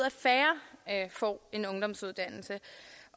at får en ungdomsuddannelse